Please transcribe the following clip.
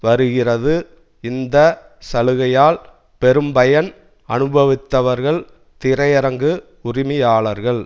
வருகிறது இந்த சலுகையால் பெரும்பயன் அனுபவித்தவர்கள் திரையரங்கு உரிமையாளர்கள்